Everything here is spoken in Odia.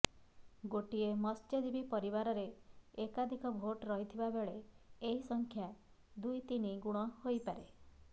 ଗୋଟିଏ ମତ୍ସ୍ୟଜୀବୀ ପରିବାରରେ ଏକାଧିକ ଭୋଟ ରହିଥିବାବେଳେ ଏହି ସଂଖ୍ୟା ଦୁଇତିନି ଗୁଣ ହେଇପାରେ